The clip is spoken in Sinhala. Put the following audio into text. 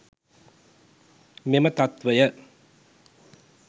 මෙම තත්වය